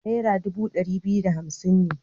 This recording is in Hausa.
Nera dubu ɗari biyu da hamsin ne.